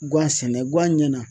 Guwan sɛnɛ guwan ɲɛna.